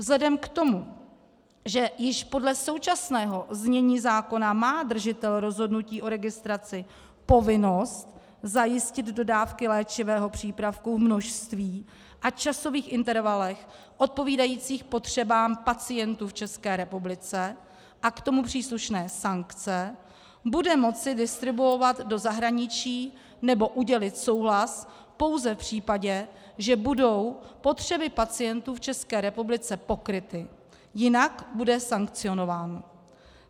Vzhledem k tomu, že již podle současného znění zákona má držitel rozhodnutí o registraci povinnost zajistit dodávky léčivého přípravku v množství a časových intervalech odpovídajících potřebám pacientů v České republice a k tomu příslušné sankce, bude moci distribuovat do zahraničí nebo udělit souhlas pouze v případě, že budou potřeby pacientů v České republice pokryty, jinak bude sankcionován.